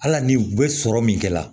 Ala ni u bɛ sɔrɔ min kɛ la